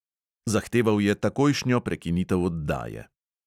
Zahteval je takojšnjo prekinitev oddaje.